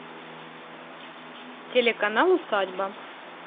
телеканал усадьба